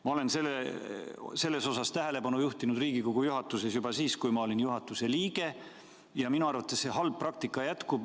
Ma juhtisin sellele Riigikogu juhatuses tähelepanu juba siis, kui ma olin juhatuse liige, aga see minu arvates halb praktika jätkub.